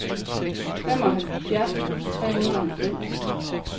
femoghalvfjerds tusind tre hundrede og halvfems